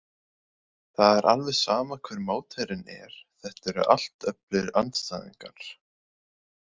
Það er alveg sama hver mótherjinn er, þetta eru allt öflugir andstæðingar.